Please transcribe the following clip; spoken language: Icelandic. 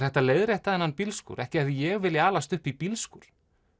hægt að leiðrétta þennan bílskúr ekki hefði ég viljað alast upp í bílskúr